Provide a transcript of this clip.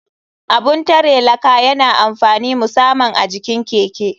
Abun tare laka yana da amfani musaman a jikin keke.